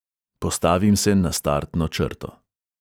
Postavim se na startno črto.